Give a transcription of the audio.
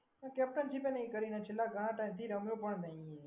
એને કેપ્ટનશીપ એ નહીં કરી અને ઘણા ટાઈમથી રમ્યો પણ નહીં.